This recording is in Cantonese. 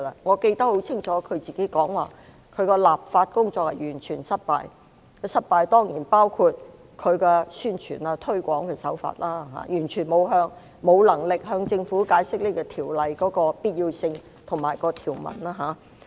我清楚記得她曾說她的立法工作完全失敗，這當然包括宣傳和推廣手法，完全無能力向市民解釋這項條例的必要性及條文。